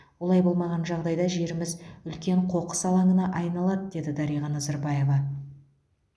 олай болмаған жағдайда жеріміз үлкен қоқыс алаңына айналады деді дариға назарбаева